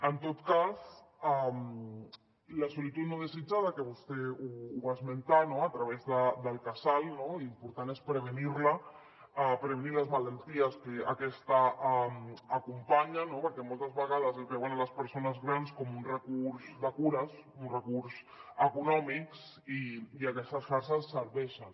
en tot cas la solitud no desitjada que vostè ho va esmentar no a través del casal l’important és prevenir la prevenir les malalties que aquesta acompanya perquè moltes vegades es veuen les persones grans com un recurs de cures un recurs econòmic i aquestes xarxes serveixen